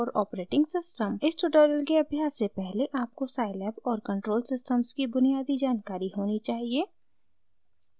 इस ट्यूटोरियल के अभ्यास से पहले आपको scilab और control systems की बुनियादी जानकारी होनी चाहिए